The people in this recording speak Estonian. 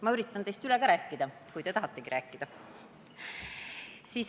Ma võin teist ka üle rääkida, kui te tahategi rääkida.